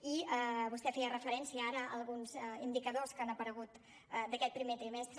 i vostè feia referència ara a alguns indicadors que han aparegut d’aquest primer trimestre